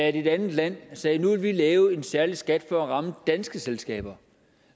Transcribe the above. at et andet land sagde at nu vil de lave en særlig skat for at ramme danske selskaber